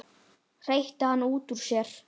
hreytti hann út úr sér.